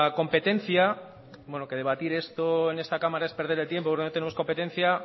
competencia bueno que debatir esto en esta cámara es perder el tiempo porque no tenemos competencia